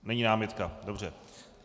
Není námitka, dobře.